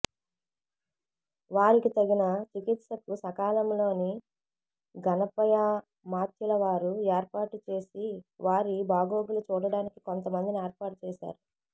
వారికి తగిన చికిత్సకు సకాలంలో గణపయామాత్యులవారు ఏర్పాటుచేసి వారి బాగోగులు చూడడానికి కొంతమందిని ఏర్పాటుచేశారు